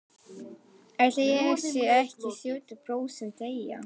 Ætli ég sé ekki sjötíu prósent teygja.